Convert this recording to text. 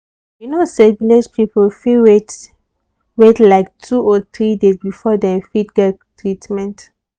you know say village people fit wait wait like two or three days before dem fit get treatment.